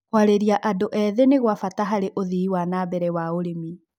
kũarĩria andũ ethĩ nĩ gwa bata harĩ ũthii wa na mbere wa ũrĩmi